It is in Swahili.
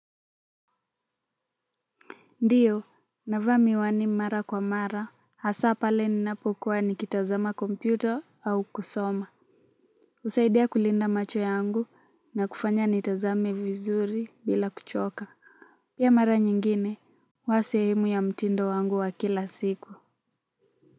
Ndiyo, navaa miwani mara kwa mara, hasa pale ninapokuwa nikitazama kompyuta au kusoma. Husaidia kulinda macho yangu na kufanya nitazame vizuri bila kuchoka. Pia mara nyingine, huwa sehemu ya mtindo wangu wa kila siku.